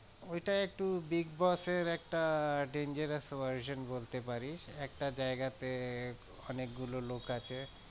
ওইটা একটু big boss এর একটা dangerous version বলতে পারিস। একটা জায়গাতে অনেক গুলো লোক আছে